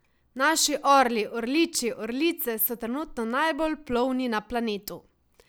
Naši orli, orliči, orlice so trenutno najbolj plovni na planetu.